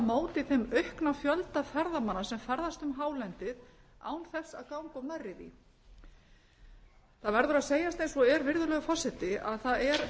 móti þeim aukna fjölda ferðamanna sem ferðast um hálendið án þess að ganga of nærri því það verður að segjast eins og er virðulegur forseti að það er